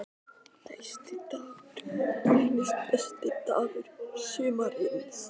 Næsti dagur reynist besti dagur sumarsins.